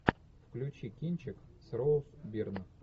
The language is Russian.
включи кинчик с роуз бирн